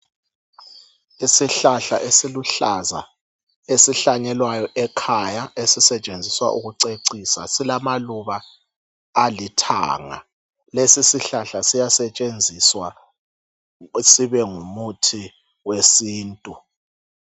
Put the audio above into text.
Isihlahla esiluhlaza esihlanyelwayo ekhaya esisetshenziswa ukuceciswa silamaluba alithanga lesisihlahla siyasetshenziswa sibengumuthi wesintu.